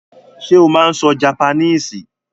Sé o máa n so japaníìsì?